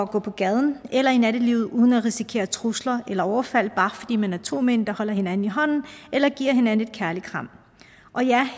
på gaden eller i nattelivet uden at risikere trusler eller overfald bare fordi man er to mænd der holder hinanden i hånden eller giver hinanden et kærligt kram og ja